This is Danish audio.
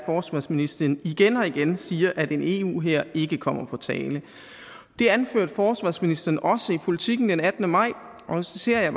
forsvarsministeren igen og igen siger at en eu hær ikke kommer på tale det anførte forsvarsministeren også i politiken den attende maj og så citerer jeg